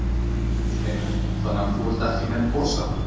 Magnús Hlynur: Þannig að þú ert ekki með posa?